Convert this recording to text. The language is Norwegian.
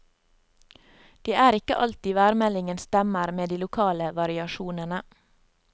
Det er ikke alltid værmeldingen stemmer med de lokale variasjonene.